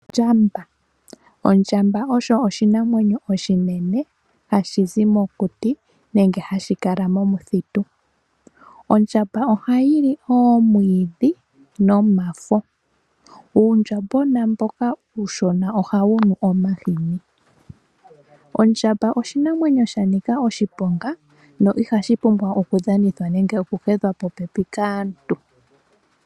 Ondjamba Ondjamba osho oshinamwenyo oshinene hashi zi mokuti nenge hashi kala momuthitu. Ondjamba ohayi li omwiidhi nomafo. Uundjambwena mboka uushona ohawu nu omahini. Ondjamba oshinamwenyo sha nika oshiponga no ihashi pumbwa oku dhanithwa nenge oku hedhwa popepi kaantu.